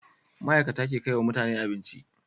Ma'ikata ke kaiwa mutane abinci